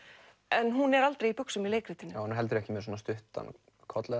en hún er aldrei í buxum í leikritinu nei hún er heldur ekki með svona stuttan koll